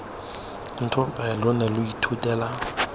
ntope lo ne lo ithutela